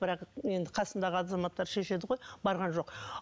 бірақ енді қасындағы азаматтар шешеді ғой барған жоқ